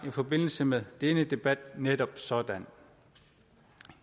i forbindelse med denne debat netop sådan